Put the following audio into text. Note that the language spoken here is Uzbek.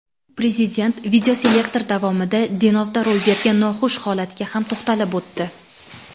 Prezident videoselektor davomida Denovda ro‘y bergan noxush holatga ham to‘xtalib o‘tdi.